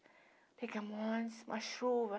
Pegamo um ônibus, uma chuva.